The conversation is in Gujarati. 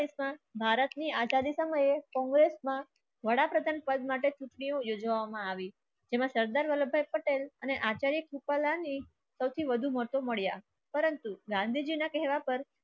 ભારતની આચાર્ય સમયે કોંગ્રેસમાં વડાપ્રધાન પદ માટે યોજવામાં આવી જેમાં સરદાર વલ્લભભાઈ પટેલ અને આચાર્ય કૃપાલાની સૌથી વધુ મહત્વ મળ્યા પરંતુ ગાંધીજીના કહેવા પર